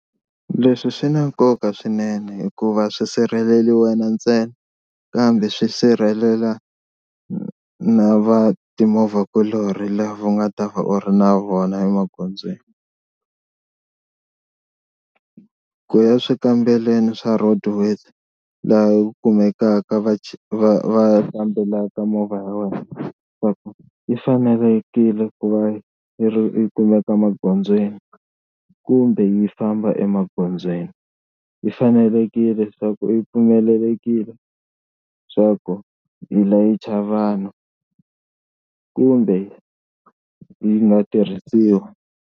Leswi swi na nkoka swinene hikuva a swi sirheleli wena ntsena kambe swi sirhelela na va timovha kuloni lava u nga ta va u ri na vona emagondzweni. Ku ya swikambelweni swa Road Worthy laha ku kumekaka va va va kambelaka movha ya wena va ku yi fanelekile ku va yi kumeka magondzweni kumbe yi famba emagondzweni yi fanelekile swa ku yi pfumelelekile swa ku yi layicha vanhu kumbe yi nga tirhisiwa.